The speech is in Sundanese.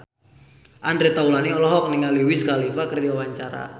Andre Taulany olohok ningali Wiz Khalifa keur diwawancara